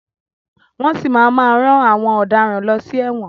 Wọ́n si máa má rán àwọn ọ̀daràn lọ sí ẹ̀wọ̀n.